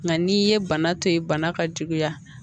Nka n'i ye bana to yen bana ka juguya